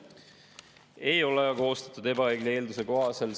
Ei ole koostatud ebaõige eelduse kohaselt.